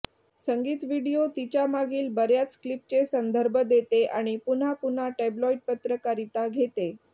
संगीत व्हिडिओ तिच्या मागील बर्याच क्लिपचे संदर्भ देते आणि पुन्हा पुन्हा टॅब्लोइड पत्रकारिता घेते